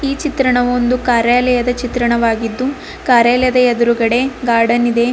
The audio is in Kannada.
ಈ ಚಿತ್ರಣವು ಒಂದು ಕಾರ್ಯಾಲಯದ ಚಿತ್ರಣವಾಗಿದ್ದು ಕಾರ್ಯಾಲಯದ ಎದುರುಗಡೆ ಗಾರ್ಡನ್ ಇದೆ.